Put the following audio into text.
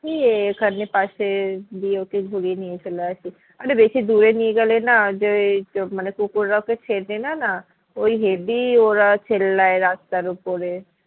এই এখানে পাশে দিয়ে ওকে ঘুরিয়ে নিয়ে চলে আসি অরে বেশি দূরে নিয়ে গেলে না যে এই মানে কুকুর রা ওকে চেনেনা না ওই হেবি ওরা চেল্লায় রাস্তার ওপরে